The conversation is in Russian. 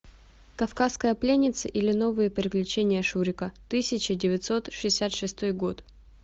кавказская пленница или новые приключения шурика тысяча девятьсот шестьдесят шестой год